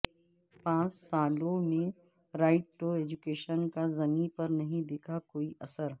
پانچ سالوں میں رائٹ ٹو ایجوکیشن کا زمین پر نہیں دکھا کوئی اثر